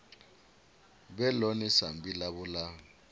vhe ḽone sambi ḽavho ḽa